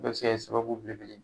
bɛɛ bɛ se ka kɛ sababu belebele ye.